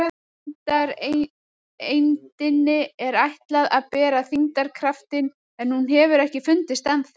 Þyngdareindinni er ætlað að bera þyngdarkraftinn en hún hefur ekki fundist ennþá.